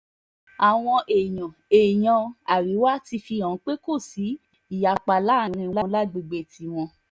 àwọn èèyàn èèyàn àríwá ti fi hàn pé kò sí ìyapa láàrin wọn lágbègbè tiwọn